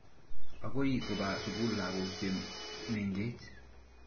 Akoi kopa sukul lagok che mengech.